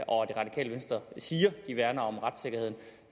og at det radikale venstre siger at de værner om retssikkerheden